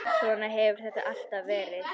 Svona hefur þetta alltaf verið.